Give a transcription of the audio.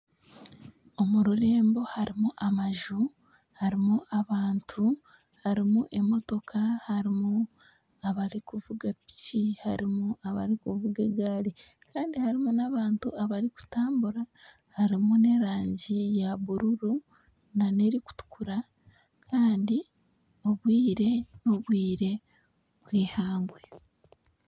Omu rurembo harimu amaju, harimu abantu, harimu emotoka, harimu abarikuvuga piki harimu abarikuvuga egaari, kandi harimu n'abantu abarikutambura. Harimu n'erangi ya bururu n'erikutukura kandi obwire n'obwire bw'eihangwe.